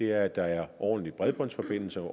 er at der er ordentlige bredbåndsforbindelser og